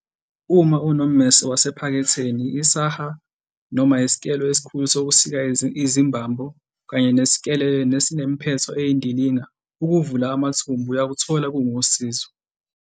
Uma unommese wasephaketheni, isaha noma isikelo esikhulu sokusika izimbambo kanye nesikelele nesinemphetho eyindilinga ukuvula amathumbu, uyakuthola kungusizo.